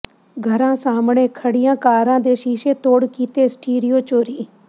ਘਰਾਂ ਸਾਹਮਣੇ ਖੜੀਆਂ ਕਾਰਾਂ ਦੇ ਸ਼ੀਸ਼ੇ ਤੋੜ ਕੀਤੇ ਸਟੀਰੀਓ ਚੋਰੀ